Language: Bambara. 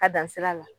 Ka dan sira la